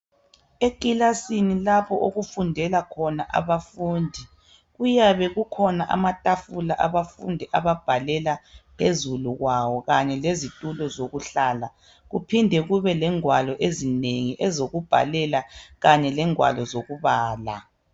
Eklasini lapho okufundela khona abafundi kuyabe kukhona amatafula abafundi ababhalela phezulu kwawo kanye lezitulo zokuhlala kuphinde kube lengwalo ezinengi ezokubhalela kanye lengwalo zokubala